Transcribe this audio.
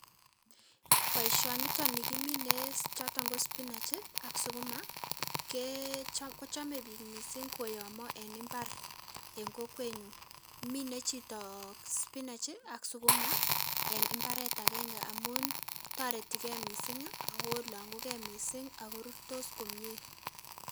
Boisioniton nikimine choton ko spinach ak sukuma, kee kochome biik missing' koyomo en mbar en kokwenyun. Mine chitoo spinach ak sukuma en mbaret agenge amun toretikei missing' ago ilong'ugei missing' ago rurtos komie.